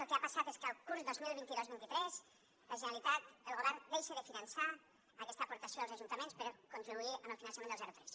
el que ha passat és que el curs dos mil vint dos vint tres la generalitat el govern deixa de finançar aquesta aportació als ajuntaments per contribuir amb el finançament del zero tres